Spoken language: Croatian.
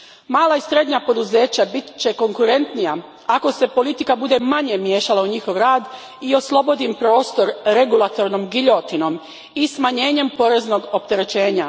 Mala i srednja poduzeća će biti konkurentnija ako se politika bude manje miješala u njihov rad i oslobodi im prostor regulatornom giljotinom i smanjenjem poreznog opterećenja.